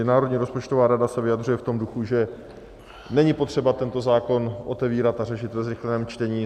I Národní rozpočtová rada se vyjadřuje v tom duchu, že není potřeba tento zákon otevírat a řešit ve zrychleném čtení.